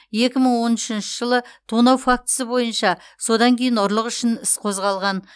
екі мың он үшінші жылы тонау фактісі бойынша содан кейін ұрлық үшін іс қозғалған